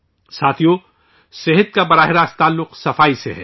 ساتھیو ، صحت کا براہ راست تعلق صفائی سے ہے